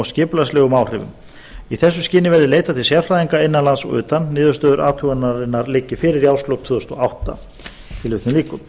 skipulagslegum áhrifum í þessu skyni verði leitað til sérfræðinga innan lands og utan niðurstöður athugunarinnar liggi fyrir í árslok tvö þúsund og átta tilvitnun lýkur